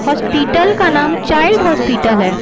Hospital का नाम child hospital है।